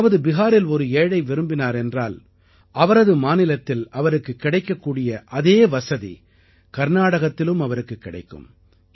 அதாவது பிஹாரில் ஒரு ஏழை விரும்பினார் என்றால் அவரது மாநிலத்தில் அவருக்குக் கிடைக்கக்கூடிய அதே வசதி கர்நாடகத்திலும் அவருக்குக் கிடைக்கும்